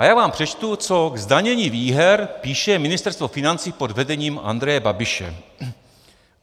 A já vám řeknu, co k zdanění výher píše Ministerstvo financí pod vedením Andreje Babiše: